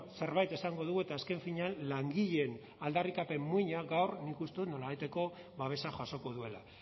zerbait esango dugu eta azken finean langileen aldarrikapen muina gaur nik uste dut nolabaiteko babesa jasoko duela